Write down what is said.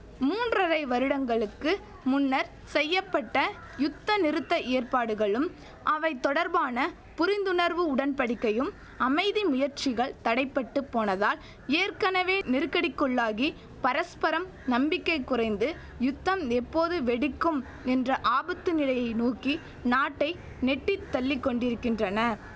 மூன்றரை வருடங்களுக்கு முன்னர் செய்ய பட்ட யுத்தநிறுத்த ஏற்பாடுகளும் அவை தொடர்பான புரிந்துணர்வு உடன்படிக்கையும் அமைதி முயற்சிகள் தடைப்பட்டுப் போனதால் ஏற்கனவே நெருக்கடிக்குள்ளாகி பரஸ்பரம் நம்பிக்கை குறைந்து யுத்தம் எப்போது வெடிக்கும் என்ற ஆபத்து நிலையை நோக்கி நாட்டை நெட்டித் தள்ளிக்கொண்டிருக்கின்றன